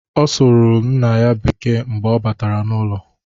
Ọ sụrụ nna ya Bekee mgbe ọ batara n;ụlọ.